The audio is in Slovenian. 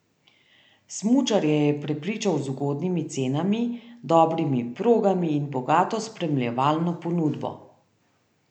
Smučarje je prepričal z ugodnimi cenami, dobrimi progami in bogato spremljevalno ponudbo.